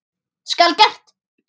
Skal gert!